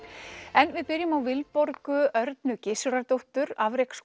en við byrjum á Vilborgu Örnu Gissurardóttur